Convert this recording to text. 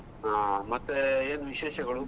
ಹಾ, ಮತ್ತೆ ಏನು ವಿಶೇಷಗಳು?